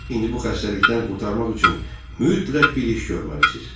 İndi bu xəstəlikdən qurtarmaq üçün mütləq bir iş görməlisiniz.